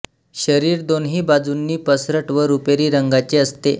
शरीर दोन्ही बाजूंनी पसरट व रुपेरी रंगाचे असते